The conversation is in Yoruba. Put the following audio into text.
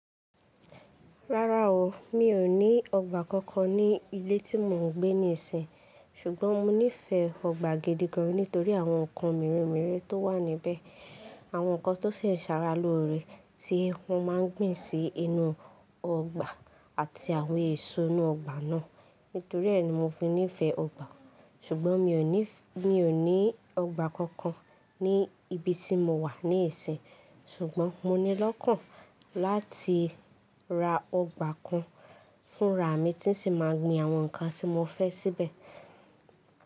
Rárá o, mi ò ní ọgbà kankan ní ilé tí mò ń gbé níisin. Ṣùgbọ́n mo nífẹ̀ẹ́ ọgbà gidi gan nítorí àwọn ǹkan míràn meremere tó wà níbẹ̀, àwọn nǹkan tó ṣe é ṣàrà lóore tí wọ́n máa ń gbìn sí inú ọgbà àti àwọn èso inú ọgbà náà. Nítorí ẹ́ ni mo fi nífẹ̀ẹ́ ọgbà. Ṣùgbọ́n mi ò ní, mi ò ní ọgbà kankan ní ibi tí mo wà nísìínyi. Ṣùgbọ́n mo ní lọ́kàn láti ra ọgbà kan fúnra mi tí n ṣì máa gbìn àwọn nǹkan tí mo fẹ́ síbẹ̀.